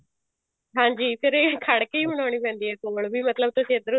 ਹਾਂਜੀ ਫ਼ੇਰ ਇਹ ਖੜ ਕੇ ਹੀ ਬਣਾਉਣੀ ਪੈਂਦੀ ਹੈ ਮਤਲਬ ਤੁਸੀਂ ਇੱਧਰੋਂ